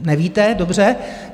Nevíte, dobře.